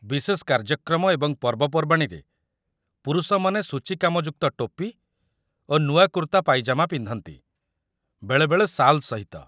ବିଶେଷ କାର୍ଯ୍ୟକ୍ରମ ଏବଂ ପର୍ବପର୍ବାଣୀରେ, ପୁରୁଷମାନେ ସୂଚୀକାମଯୁକ୍ତ ଟୋପି ଓ ନୂଆ କୁର୍ତ୍ତା ପାଇଜାମା ପିନ୍ଧନ୍ତି, ବେଳେବେଳେ ଶାଲ୍ ସହିତ